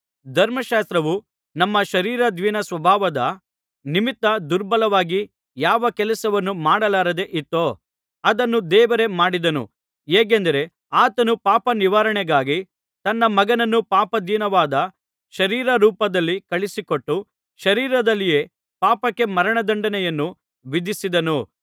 ಧರ್ಮಶಾಸ್ತ್ರವು ನಮ್ಮ ಶರೀರಾಧೀನಸ್ವಭಾವದ ನಿಮಿತ್ತ ದುರ್ಬಲವಾಗಿ ಯಾವ ಕೆಲಸವನ್ನು ಮಾಡಲಾರದೆ ಇತ್ತೋ ಅದನ್ನು ದೇವರೇ ಮಾಡಿದನು ಹೇಗೆಂದರೆ ಆತನು ಪಾಪನಿವಾರಣೆಗಾಗಿ ತನ್ನ ಮಗನನ್ನು ಪಾಪಾಧೀನವಾದ ಶರೀರ ರೂಪದಲ್ಲಿ ಕಳುಹಿಸಿಕೊಟ್ಟು ಶರೀರದಲ್ಲಿಯೇ ಪಾಪಕ್ಕೆ ಮರಣದಂಡನೆಯನ್ನು ವಿಧಿಸಿದನು